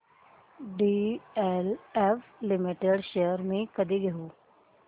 DLF limited shares मी कधी घेऊ